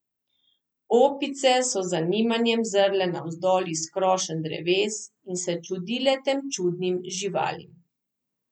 Opice so z zanimanjem zrle navzdol iz krošenj dreves in se čudile tem čudnim živalim.